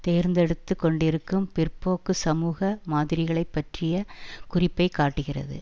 தேர்ந்தெடுத்து கொண்டிருக்கும் பிற்போக்கு சமூக மாதிரிகளைப் பற்றிய குறிப்பை காட்டுகிறது